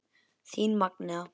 Þín Magnea.